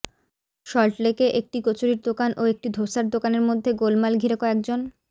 সল্টলেকে একটি কচুরির দোকান ও একটি ধোসার দোকানের মধ্যে গোলমাল ঘিরে কয়েক জন